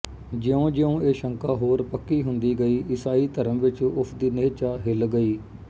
ਜਿਉਂਜਿਉਂ ਇਹ ਸ਼ੰਕਾ ਹੋਰ ਪੱਕੀ ਹੁੰਦੀ ਗਈ ਈਸਾਈ ਧਰਮ ਵਿੱਚ ਉਸ ਦੀ ਨਿਹਚਾ ਹਿੱਲ ਗਈ